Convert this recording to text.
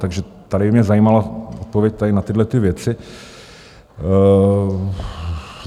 Takže tady by mě zajímala odpověď na tyhlety věci.